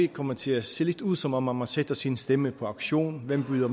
komme til at se lidt ud som om om man satte sin stemme på auktion hvem byder